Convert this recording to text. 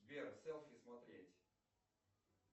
сбер селфи смотреть